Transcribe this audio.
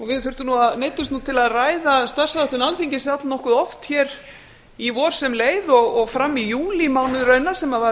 við neyddumst til að ræða starfsáætlun alþingis að nokkuð oft hér í vor sem leið og fram í júlímánuð raunar sem